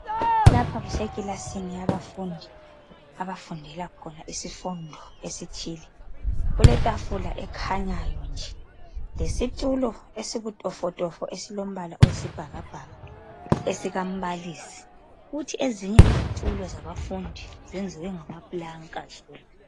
Lapha kusekilasini yabafundi abafundel khona isifundo esithile. Kuletafula ekhanyayo nje lesitulo esibutofotofo esilombala oyisibhakabhaka esikambalisi. Kuthi ezinye izitulo zabafundi zenziwe ngamapulanka zonke.